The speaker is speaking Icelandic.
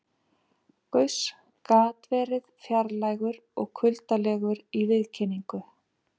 Gauss gat verið fjarlægur og kuldalegur í viðkynningu.